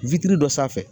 Wititi dɔ sanfɛ